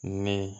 Ne